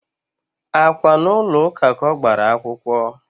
Á kwá n'ulo ụka ka ọ gbara akwụkwọ?